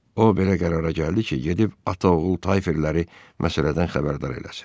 O belə qərara gəldi ki, gedib ata-oğul Tayferləri məsələdən xəbərdar eləsin.